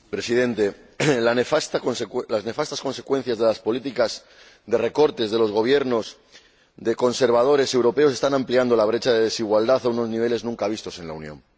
Señor Presidente, las nefastas consecuencias de las políticas de recorte de los Gobiernos de conservadores europeos están ampliando la brecha de desigualdad a unos niveles nunca vistos en la Unión.